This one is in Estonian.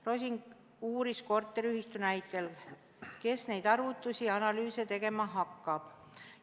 Rosin uuris korteriühistu näitel, kes neid arvutusi-analüüse tegema hakkab.